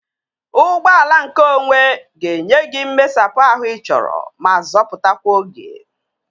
Ụgbọala nke onwe ga-enye gị mmesapụ ahụ ị chọrọ ma zọpụtakwa oge